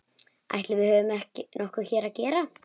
Ætli við höfum nokkuð hér að gera?